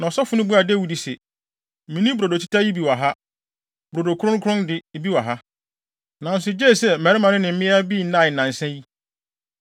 Na ɔsɔfo no buaa Dawid se, “Minni brodo teta yi bi wɔ ha. Brodo kronkron de, bi wɔ ha, nanso gye sɛ mmarima no ne mmea bi nnae nnansa yi.”